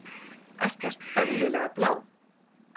Ekkert eðlilega blá.